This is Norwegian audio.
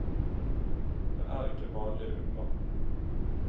Det er ikke vanlige ulver.